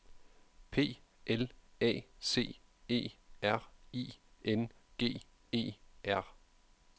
P L A C E R I N G E R